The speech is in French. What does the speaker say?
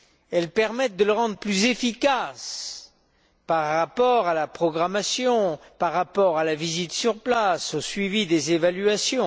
Elles permettent de le rendre plus efficace par rapport à la programmation, par rapport à la visite sur place, au suivi des évaluations.